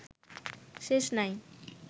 শেষ নাই